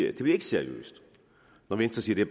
at det bliver seriøst når venstre siger at